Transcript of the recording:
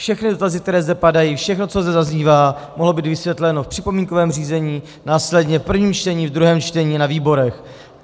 Všechny dotazy, které zde padají, všechno, co zde zaznívá, mohlo být vysvětleno v připomínkovém řízení, následně v prvním čtení, ve druhém čtení, na výborech.